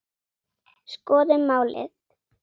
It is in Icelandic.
Skoðum málið.